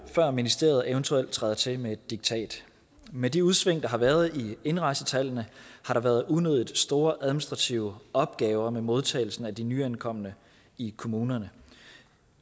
før ministeriet eventuelt træder til med et diktat med de udsving der har været i indrejsetallene har der været unødigt store administrative opgaver med modtagelsen af de nyankomne i kommunerne